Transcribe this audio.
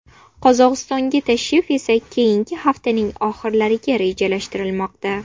Qozog‘istonga tashrif esa keyingi haftaning oxirlariga rejalashtirilmoqda.